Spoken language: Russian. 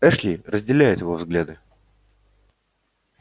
эшли разделяет его взгляды